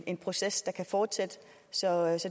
en proces der kan fortsætte så